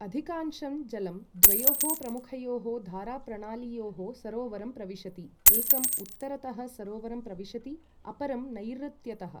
अधिकांशं जलं द्वयोः प्रमुखयोः धाराप्रणालीयोः सरोवरं प्रविशति, एकं उत्तरतः सरोवरं प्रविशति, अपरं नैर्ऋत्यतः ।